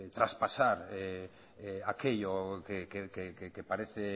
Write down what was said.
traspasar aquello que parece